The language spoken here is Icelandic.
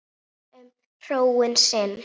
Hugsar um hróin sín.